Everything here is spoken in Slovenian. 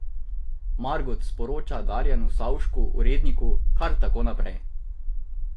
Margot sporoča Darjanu Savšku, uredniku: "Kar tako naprej.